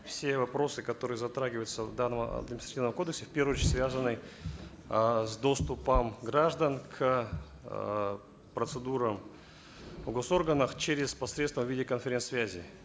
все вопросы которые затрагиваются в данном административном кодексе в первую очередь связаны э с доступом граждан к эээ процедурам в госорганах через посредством в виде конференц связи